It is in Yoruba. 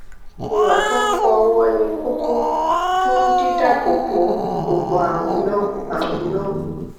ìwà tó ń fọ ọwọ ni kókó fún dídáàbò bo gbogbo àrùn náà àrùn náà